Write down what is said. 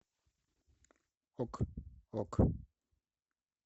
ок ок